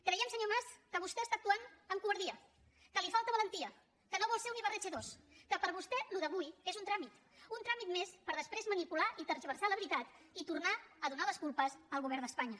creiem senyor mas que vostè està actuant amb covardia que li falta valentia que no vol ser un ibarretxe dos que per vostè això d’avui és un tràmit un tràmit més per després manipular i tergiversar la veritat i tornar a donar les culpes al govern d’espanya